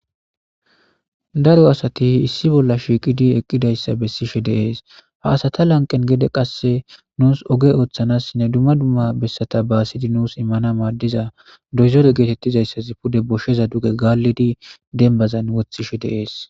Daro asati issi bolla shiiqidi eqidayssa besishe de7ees. Ha asata lanqqen gede qase nus ogge oththanasinne dumma dumma bessata baassidi nus imanas maadiza doozore getetizaysssazi pude goshshaza duge gallide dembbazan woththishe de7ees